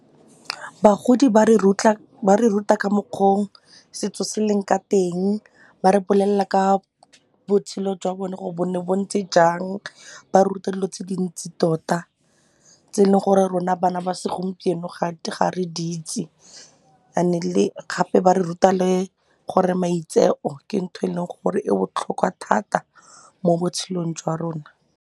Bagodi ba re ruta ka mokgwa o setso se leng ka teng, ba re bolelela ka botshelo jwa bone gore bo ne bo ntse jang, ba re ruta dilo tse dintsi tota tse e leng gore rona bana ba segompieno ga re di itse and-e le gape ba re ruta le gore maitseo ke ntho e leng gore e botlhokwa thata mo botshelong jwa rona.